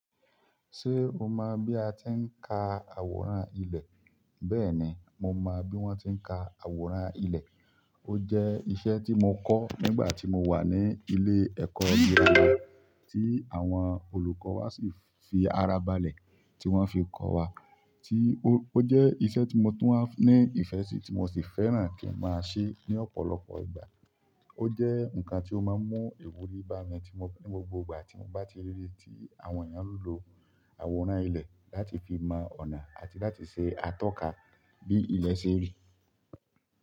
Ṣé o mọ̀ bí a ti ń ka àwòrán ilẹ̀? Bẹ́ẹ̀ni, mo mo bi won ti n ka àwòrán ile. Ó jẹ́ iṣẹ́ tí mo kọ́ nígbà tí mo wà ní ilé ẹ̀kọ́ gírámà tí àwọn olùkọ́ wa sì fi ara balẹ̀ tí wọ́n fi kọ́ wa. Tí ó, ó jẹ́ iṣẹ́ tí mo tún wá ní ìfẹ́ sì tí mo sì fẹ́ràn kí n máa ṣe ní ọ̀pọ̀lọpọ̀ ìgbà. Ó jẹ́ nǹkan tí ó máa ń mú ìwúrí bá mi tí mo, ní gbogbo ìgbà tí mo bá ti rí tí àwọn èèyàn lo àwòrán ilẹ̀ láti fi mọ ọ̀nà àti láti ṣe atọ́ka bí ilẹ̀ ṣe rí.